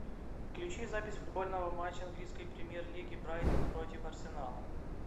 включи запись футбольного матча английской премьер лиги брайтон против арсенала